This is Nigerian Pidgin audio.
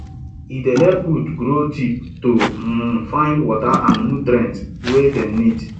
e dey help root grow deep to um find water and nutrients wey dem need